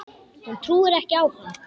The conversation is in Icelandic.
Hún trúir ekki á hann.